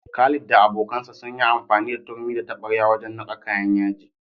Khalid da abokansa sun yi amfani da turmi da taɓarya wajen niƙa kayan yaji.